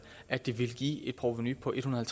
at det ville give et provenu på en hundrede og